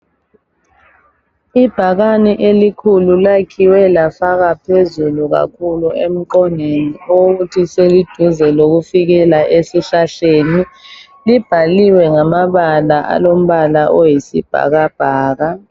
Ibhakane elikhulu lakhiwe lafakwa phezulu kakhulu emqongeni okokuthi seliduze lokufikela esihlahleni, libhaliwe ngamabala alombala oyisibhakabhaka.